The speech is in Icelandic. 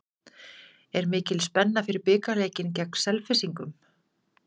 Er mikil spenna fyrir bikarleikinn gegn Selfyssingum?